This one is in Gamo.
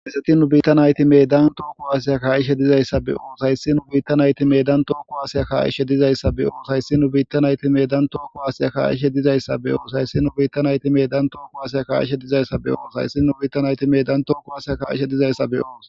Hayssa nu bitta nayti medan toho kuwase ka'ishe dizayssatti be'os hyssi nu biitta naytti tohokuwasiya ka'ishe dizayssa be'os hayssi nu biitta naytti medan too kuwasya ka'ishe dizayssa be'os hayssi nu biitta naytti medan toho kuwasiya ka'ishe dizayssa be'os hayssi nu biitta naytti medan too kuwasya ka'ishe dizayssa be'os.